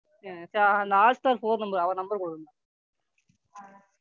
ஆ சரி அந்த Hotstar phone number அவரு Number கொடுங்க.